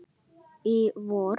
Í vor.